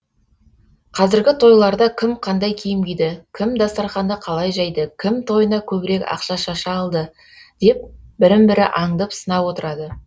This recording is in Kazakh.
қазіргі тойларда кім қандай киім киді кім дастарханды қалай жайды кім тойына көбірек ақша шаша алды деп бірін бірі аңдып сынап отырады